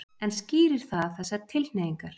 En skýrir það þessar tilhneigingar?